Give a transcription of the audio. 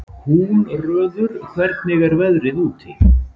Húnröður, hvernig er veðrið úti?